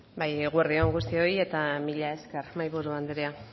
bai eguerdi on guztioi eta mila esker mahaiburu andrea